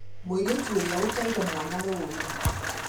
Mũirĩtu ũrĩa ateire mwana rũi